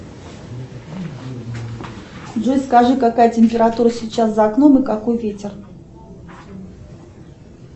джой скажи какая температура сейчас за окном и какой ветер